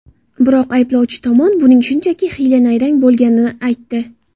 Biroq ayblovchi tomon buning shunchaki hiyla-nayrang bo‘lganini aytdi.